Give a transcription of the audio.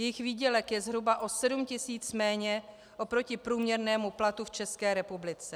Jejich výdělek je zhruba o 7 tisíc méně oproti průměrnému platu v České republice.